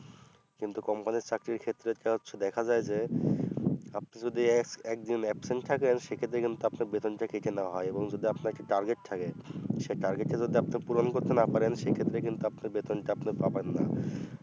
কিন্তু company র চাকরির ক্ষেত্রে তা হচ্ছে দেখা যায় যে আপনি যদি এক একদিন absent থাকেন সেক্ষেত্রে কিন্তু আপনার বেতনটা কেটে নেওয়া হয় এবং যদি আপনার একটি target থাকে সে target তা যদি আপনি পূরণ করতে না পারেন সেক্ষেত্রে কিন্তু আপনি বেতনটা আপনি পাবেন না